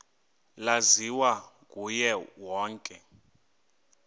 laziwa nguye wonke